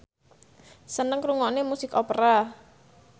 seneng ngrungokne musik opera